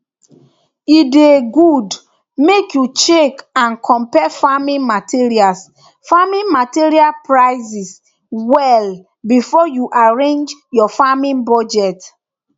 e dey good make you check and compare farming materials farming materials prices well before you arrange your farming budget